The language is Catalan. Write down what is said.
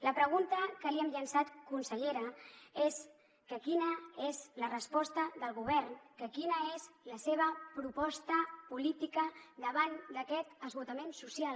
la pregunta que li hem llançat consellera és que quina és la resposta del govern que quina és la seva proposta política davant d’aquest esgotament social